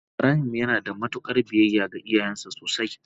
ibrahim yanada mutukar biyayya ga iyayansa sosai.